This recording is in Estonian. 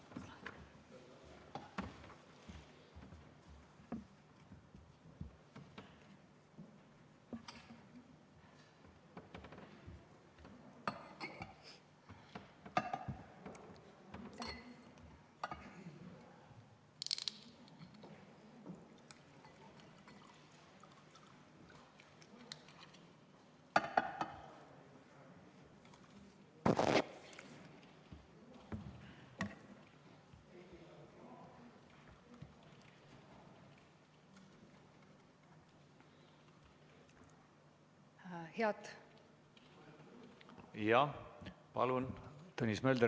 Palun, Tõnis Mölder, kas protseduuriline küsimus?